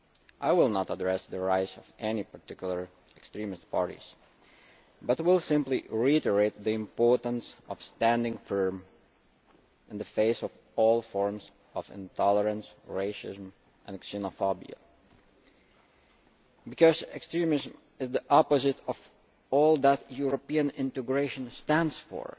I will not address the rise of any particular extremist parties, but I will simply reiterate the importance of standing firm in the face of all forms of intolerance, racism and xenophobia, because extremism is the opposite of all that European integration stands for.